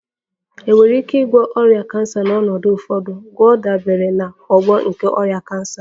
Enwere ike ịgwọ ọrịa cancer na n'ọnọdụ ụfọdụ, gwọọ dabere na ogbo nke ọrịa cancer